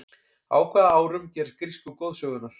á hvaða árum gerast grísku goðsögurnar